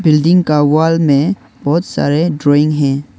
Building का wall में बहोत सारे ड्राइंग है।